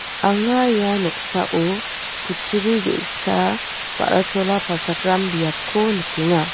anga ia noksao kutturi ge.sa ba.ra chola palchakram biapko nikenga.